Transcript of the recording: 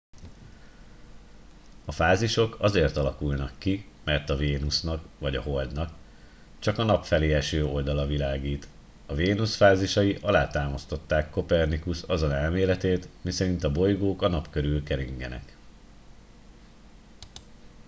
a fázisok azért alakulnak ki mert a vénusznak vagy a holdnak csak a nap felé eső oldala világít. a vénusz fázisai alátámasztották kopernikusz azon elméletét miszerint a bolygók a nap körül keringenek